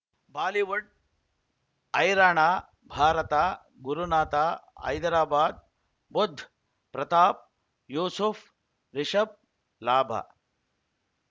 Bollywood ಹೈರಾಣ ಭಾರತ ಗುರುನಾಥ ಹೈದರಾಬಾದ್ ಬುಧ್ ಪ್ರತಾಪ್ ಯೂಸುಫ್ ರಿಷಬ್ ಲಾಭ